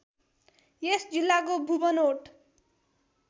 यस जिल्लाको भूबनोट